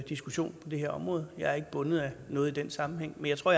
diskussion på det her område jeg er ikke bundet af noget i den sammenhæng men jeg tror